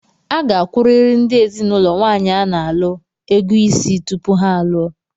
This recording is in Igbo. a ga-akwụrịrị ndị ezinụlọ nwaanyị a na-alụ ug ego Ịsị tupu ha alụọ.